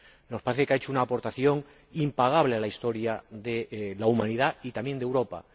Nos parece que ha hecho una aportación impagable a la historia de la humanidad y también de Europa.